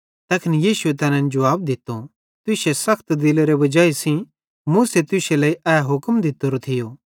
तैखन यीशुए तैनन् जुवाब दित्तो तुश्शे सखत दिलेरी वजाई सेइं मूसे तुश्शे लेइ ए हुक्म दित्तोरो थियो